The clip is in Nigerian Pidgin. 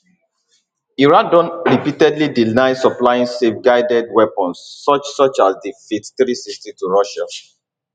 iran don repeatedly deny supplying selfguided weapons such such as di fath360 to russia